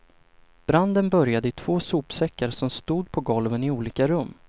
Branden började i två sopsäckar som stod på golven i olika rum.